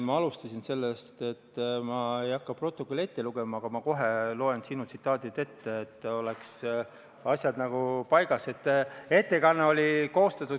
Ma alustasin sellest, et ma ei hakka protokolli ette lugema, aga ma kohe loen sinu tsitaadid ette, et asjad oleks paigas.